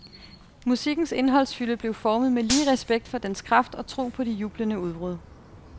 Musikkens indholdsfylde blev formet med lige respekt for dens dens kraft og tro på de jublende udbrud.